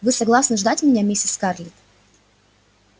вы согласны ждать меня миссис скарлетт